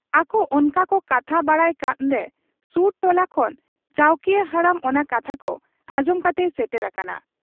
ᱟᱠᱚ ᱚᱱᱠᱟᱠᱚ ᱠᱟᱛᱷᱟ ᱵᱟᱲᱟᱜ ᱠᱟᱱᱨᱮ ᱥᱩᱨ ᱴᱚᱞᱟ ᱠᱷᱚᱱ ᱪᱟᱹᱣᱠᱤᱭᱟᱹ ᱦᱟᱲᱟᱢ ᱚᱱᱟ ᱠᱟᱛᱷᱟ ᱠᱚ ᱟᱸᱡᱚᱢ ᱠᱟᱛᱮᱭ ᱥᱮᱴᱮᱨ ᱟᱠᱟᱱᱟ ᱾